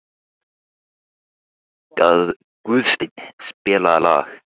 Guðstein, spilaðu lag.